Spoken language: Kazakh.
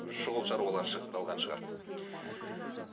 шұғыл шаруалары шығып қалған шығар